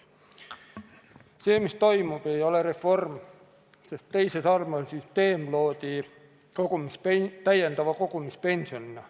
See, mis toimub, ei ole reform, sest teise samba süsteem loodi täiendava kogumispensionina.